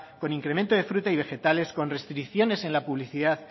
con incremento de frutas y vegetales con restricciones en la publicidad